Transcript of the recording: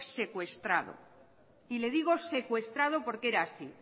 secuestrado y le digo secuestrado porque era así